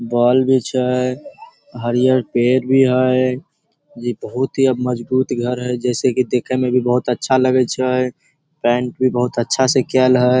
Ball भी छै हरियर पेड़ भी है इ बहुत ही अब मजबूत घर है जैसे कि देखे में भी बहुत अच्छा लगे छै पेंट भी बहुत अच्छा से कायल हई।